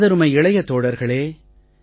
எனதருமை இளைய தோழர்களே